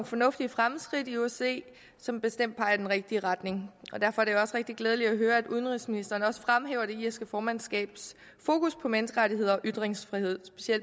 fornuftige fremskridt i osce som bestemt peger i den rigtige retning og derfor er det rigtig glædeligt at høre at udenrigsministeren også fremhæver det irske formandskabs fokus på menneskerettigheder og ytringsfrihed